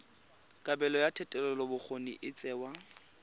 kabelo ya thetelelobokgoni e tsewa